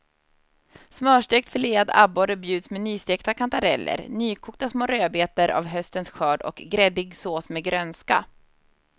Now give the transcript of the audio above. Smörstekt filead abborre bjuds med nystekta kantareller, nykokta små rödbetor av höstens skörd och gräddig sås med grönska.